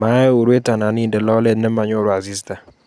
Mae urwet anan inde lolet nemanyoru asista